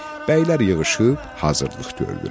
Bəylər yığışıb hazırlıq gördülər.